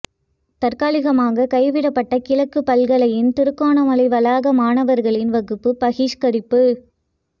தற்காலிகமாக கைவிடப்பட்ட கிழக்கு பல்கலையின் திருகோணமலை வளாக மாணவர்களின் வகுப்பு பகிஷ்கரிப்பு